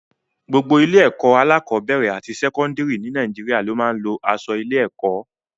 Gbogbo ilé-ẹ̀kọ́ alákọ̀ọ́bẹ̀rẹ̀ àti sẹ́kọ́ńdìrì ní Nàìjíríà ló máa ń lo aṣọ ilé-ẹ̀kọ́.